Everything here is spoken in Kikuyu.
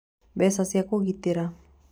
Mbeca cia Kũgitĩra: